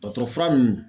Dɔgɔtɔrɔ fura nunnu